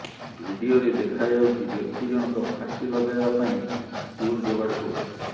ଭିଡିଓରେ ଦେଖାଯାଉଛି ବ୍ୟକ୍ତି ଜଣକ ଫାଶୀ ଲଗାଇବା ପାଇଁ ଷ୍ଟୁଲ ଯୋଗାଡ କରୁଛି